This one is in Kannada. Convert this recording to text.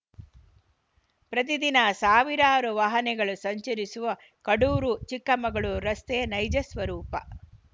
ಪ್ರತಿ ದಿನ ಸಾವಿರಾರು ವಾಹನೆಗಳು ಸಂಚರಿಸುವ ಕಡೂರು ಚಿಕ್ಕಮಗಳೂರು ರಸ್ತೆಯ ನೈಜ ಸ್ವರೂಪ